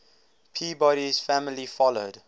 peabody's family followed